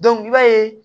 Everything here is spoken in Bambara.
i b'a ye